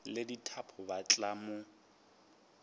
le dithapo ba tla mo